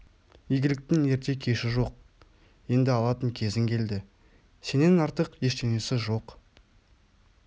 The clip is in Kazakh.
игіліктің ерте-кеші жоқ енді алатын кезің келді сенен артық ештеңесі жоқ